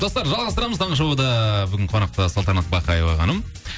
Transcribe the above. достар жалғастырамыз таңғы шоуды бүгін қонақта салтанат бақаева ханым